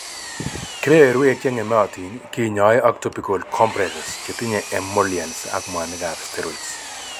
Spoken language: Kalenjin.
Kebeberwek cheng'emotin kinyoe ak topical compresses chetinye emollients ak mwanikab steroids